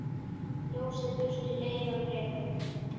Ljósið burtu leiðann rekur.